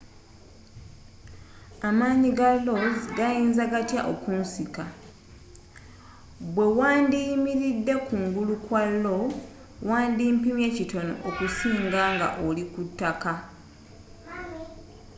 amanyi ga lo's gayinza gatya okunsika bwe wandiyimiridde kungulu kwa lo wandi pimye kitono okusinga nga oli ku ttaka